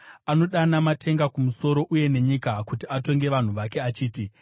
Anodana matenga kumusoro, uye nenyika, kuti atonge vanhu vake achiti: